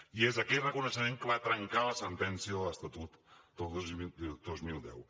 i és aquell reconeixement que va trencar la sentència de l’estatut del dos mil deu